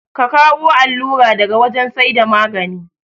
Ka kawu allura daga wajan saida magane